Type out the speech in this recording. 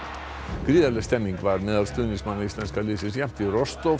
gríðarleg stemmning var meðal stuðningsmanna íslenska liðsins jafnt í